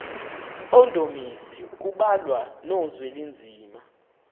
mpondomise kubalwa nozwelinzima